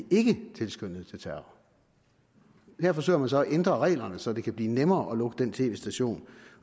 ikke tilskyndede til terror her forsøger man så at ændre reglerne så det kan blive nemmere at lukke den tv station